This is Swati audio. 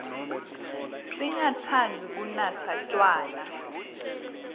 singatsandzi kunatsa tjwala